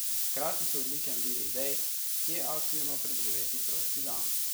Hkrati so odličen vir idej, kje aktivno preživeti prosti dan.